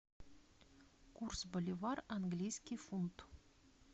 курс боливар английский фунт